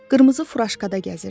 Qırmızı furaşkada gəzirdi.